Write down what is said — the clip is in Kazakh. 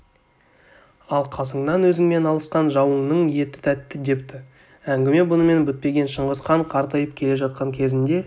ал қасыңнан өзіңмен алысқан жауыңның еті тәтті депті әңгіме бұнымен бітпеген шыңғысхан қартайып келе жатқан кезінде